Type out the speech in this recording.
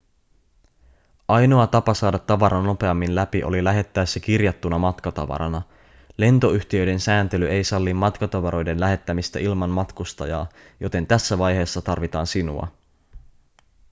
ainoa tapa saada tavara nopeammin läpi oli lähettää se kirjattuna matkatavarana lentoyhtiöiden sääntely ei salli matkatavaroiden lähettämistä ilman matkustajaa joten tässä vaiheessa tarvitaan sinua